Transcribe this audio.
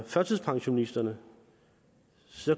førtidspensionisterne